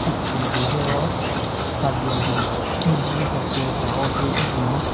Picture gu hi aro ka building PG hostel paha ho che hyu binyon.